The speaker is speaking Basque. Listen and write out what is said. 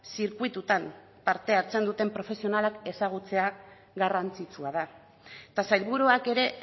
zirkuitutan parte hartzen duten profesionalak ezagutzea garrantzitsua da eta sailburuak ere